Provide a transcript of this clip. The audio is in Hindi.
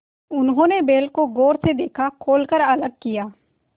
उन्होंने बैल को गौर से देखा खोल कर अलग किया